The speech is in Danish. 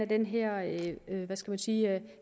den her hvad skal man sige